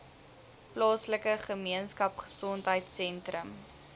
plaaslike gemeenskapgesondheid sentrum